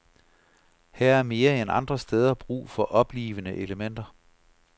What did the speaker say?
Her er mere end andre steder brug for oplivende elementer.